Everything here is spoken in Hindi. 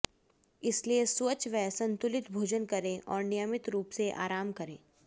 इसलिए स्वच्छ व संतुलित भोजन करें और नियमित रूप से आराम करें